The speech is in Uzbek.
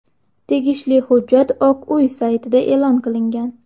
Tegishli hujjat Oq uy saytida e’lon qilingan .